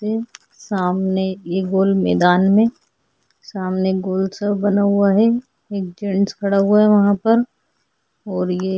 सामने एक गोल मैदान में सामने गोल सा बना हुआ है एक जेन्ट्स खड़ा हुआ है वहां पर और ये --